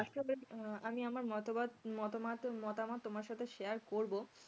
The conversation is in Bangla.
হম আমি আমার মতাবত মতামত মতামত তোমার সাথে share করবো